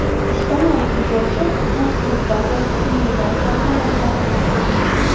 ispaniyalik futbolchi bugun klub bazasida individual tarzda mashg‘ulot o‘tkazgan.